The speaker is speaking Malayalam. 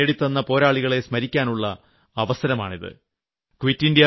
എന്നാൽ ഈ സ്വാതന്ത്ര്യം നേടിതന്ന പോരാളികളെ സ്മരിക്കാനുളള അവസരമാണിത്